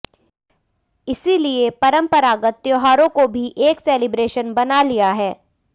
इसीलिए परम्परागत त्योहारों को भी एक सेलिब्रेशन बना लिया है